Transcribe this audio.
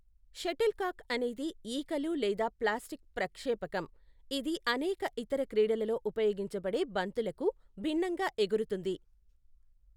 Shuttlecock అనేది ఈకలు లేదా ప్లాస్టిక్ ప్రక్షేపకం, ఇది అనేక ఇతర క్రీడలలో ఉపయోగించబడే బంతులకు భిన్నంగా ఎగురుతుంది.